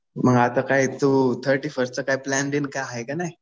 मग आता काय तू थर्टी फर्स्टचा काय प्लॅन बिन काय आहे कि नाही?